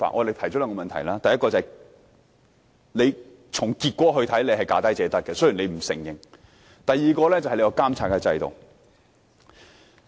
第一，從投標的結果看來，是"價低者得"，雖然政府不承認；第二是監察制度。